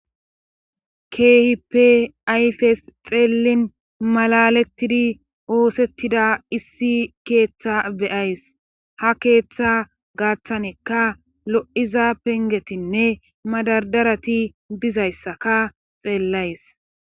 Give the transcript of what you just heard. Keehipe ayfes xeellin malalettidi oosettida issi keeththa beyays ha keeththa gaaththanekka lo7iza pengetinne madadarati dizayssaka xeellays.